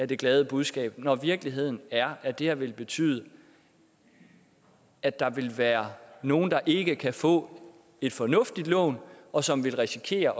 det glade budskab når virkeligheden er at det her vil betyde at der vil være nogle der ikke kan få et fornuftigt lån og som vil risikere